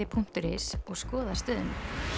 punktur is og skoða stöðuna